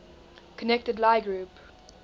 connected lie group